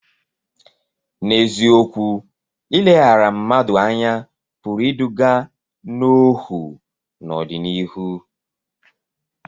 N’eziokwu, ileghara mmadụ anya pụrụ iduga n’ọhụụ n’ọdịnihu.